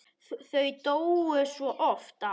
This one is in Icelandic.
Þau duttu svo oft af.